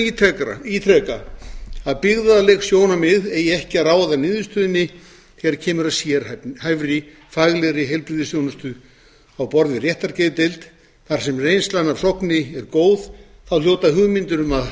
ítreka að byggðaleg sjónarmið eigi ekki að ráða niðurstöðunni þegar kemur að sérhæfðri faglegri heilbrigðisþjónustu á borð við réttargeðdeild þar sem reynslan af sogni er góð þá hljóta hugmyndir um að